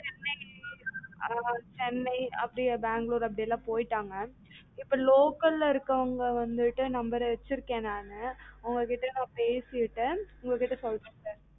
சென்னை ஆஹ் சென்னை அப்டியே பெங்களூர் அப்படி எல்லாம் போய்ட்டாங்க இப்ப local ல இருக்கவங்க வந்துட்டு நம்பர் வச்சுருக்கன் நானு அவங்க கிட்ட நான் பேசிட்டு நான் உங்க கிட்ட சொல்றன் sir சரிங்க சரி